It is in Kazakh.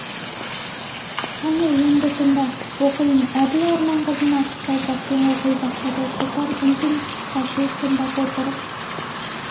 қане енді тыңда оқиын әбіл орман қызын асықпай баппен оқи бастады шолпан үн-түнсіз қалшиып тыңдап отырып